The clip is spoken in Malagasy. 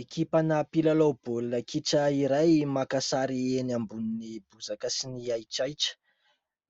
Ekipa mpilalao baolina kitra iray maka sary eny ambonin'ny bozaka sy ny ahitrahitra ;